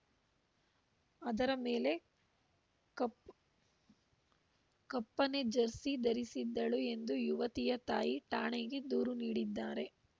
ಅದರ ಮೇಲೆ ಕಪ್ಪನೆ ಜರ್ಸಿ ಧರಿಸಿದ್ದಳು ಎಂದು ಯುವತಿಯ ತಾಯಿ ಠಾಣೆಗೆ ದೂರು ನೀಡಿದ್ದಾರೆ